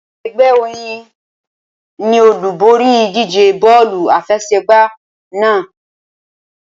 Ẹgbẹ́ Oyin ni olúborí ìdíje bọ́ọ̀lù àfẹsẹ̀gbá náà.